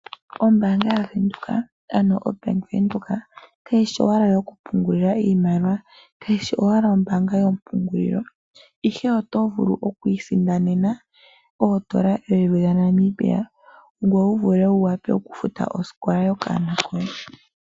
Ombaanga yaVenduka ano oBank Windhoek kayishi owala ombaanga youkupungulila iimaliwa ihe oto vulu okwiisindanena oondola eyuvi dhaNamibia, ngoye wuvule wuwape okufuta oskola yokaana koye.